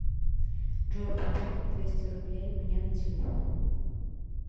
джой пополни двести рублей мне на телефон